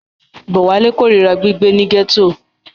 Bówálé korira gbígbé ní gẹ́tò.